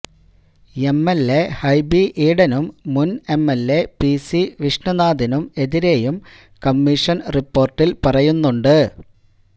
MLA Hibi ഈഡനും മുന് MLA PC വിഷ്ണിനാഥിനും എതിരേയും കമ്മീഷന് റിപ്പോര്ട്ടില് പറയുന്നുണ്ട്